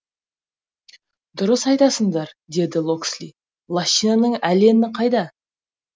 дұрыс айтасыңдар деді локсли лощинаның аллені қайда